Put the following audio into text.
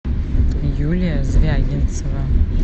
юлия звягинцева